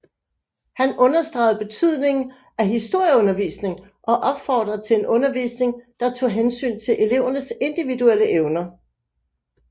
Han understregede betydningen af historieundervisning og opfordrede til en undervisning der tog hensyn til elevernes individuelle evner